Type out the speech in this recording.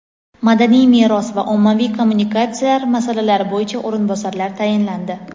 madaniy meros va ommaviy kommunikatsiyalar masalalari bo‘yicha o‘rinbosarlar tayinlandi.